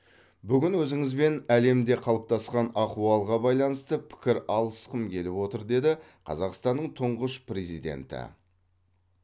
бүгін өзіңізбен әлемде қалыптасқан ахуалға байланысты пікір алысқым келіп отыр деді қазақстанның тұңғыш президенті